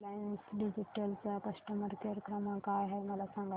Reliance digital चा customer care क्रमांक काय आहे मला सांगा